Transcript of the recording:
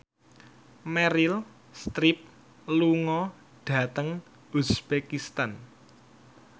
Meryl Streep lunga dhateng uzbekistan